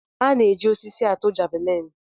A na-eji osisi atụ javelin.